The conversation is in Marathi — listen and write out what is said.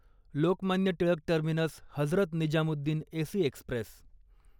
Lokmanya Tilak terminus Hazrat Nizamuddin AC Express